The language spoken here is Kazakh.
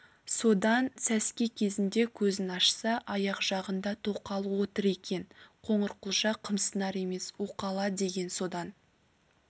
содан сәске кезінде көзін ашса аяқ жағында тоқалы отыр екен қоңырқұлжа қымсынар емес уқала деген содан